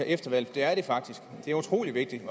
efter valget det er det faktisk det er utrolig vigtigt